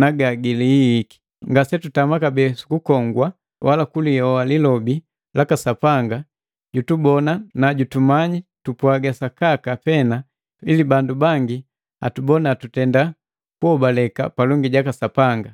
na ga gilihihiki. Ngasetutama kabee sukukongwa, wala sukulioa lilobi laka Sapanga jutubona na jutumanyi tupwaga sakaka pena ili bandu bangi atubona tutenda kuhobaleka palongi jaka Sapanga.